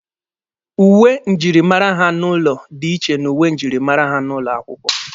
Uwe njirimara ha n'ụlọ dị iche n'uwe njirimara ha n'ụlọ akwụkwọ